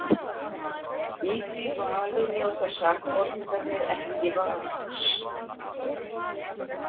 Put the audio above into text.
Í því vali njóta sakborningarnir ekki vafans.